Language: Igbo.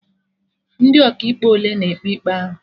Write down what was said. Ndị Ọkaikpe ole na-ekpe ikpe ahụ?